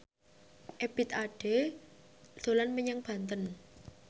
Ebith Ade dolan menyang Banten